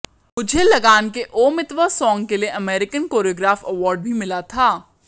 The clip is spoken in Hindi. मुझे लगान के ओ मितवा सॉन्ग के लिए अमेरिकन कोरियोग्राफ अवार्ड भी मिला था